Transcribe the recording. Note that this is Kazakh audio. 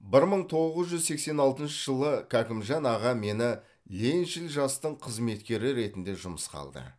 бір мың тоғыз жүз сексен алтыншы жылы кәкімжан аға мені лениншіл жастың қызметкері ретінде жұмысқа алды